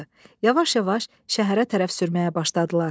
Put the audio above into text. Yavaş-yavaş şəhərə tərəf sürməyə başladılar.